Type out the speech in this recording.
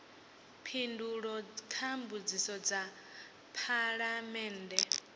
phindulo kha mbudziso dza phalamennde